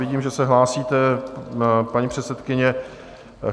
Vidím, že se hlásíte, paní předsedkyně.